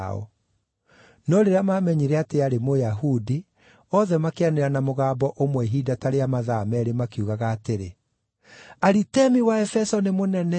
No rĩrĩa maamenyire atĩ aarĩ Mũyahudi, othe makĩanĩrĩra na mũgambo ũmwe ihinda ta rĩa mathaa meerĩ makiugaga atĩrĩ, “Aritemi wa Aefeso nĩ mũnene!”